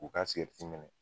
U ka sigɛriti mɛnɛ